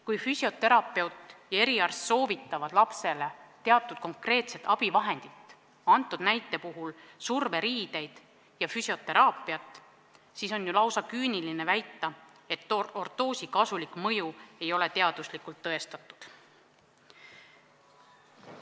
Kui füsioterapeut ja eriarst soovitavad lapsele teatud konkreetset abivahendit, antud näite puhul surveriideid ja füsioteraapiat, siis on ju lausa küüniline väita, et ortoosi kasulik mõju ei ole teaduslikult tõestatud.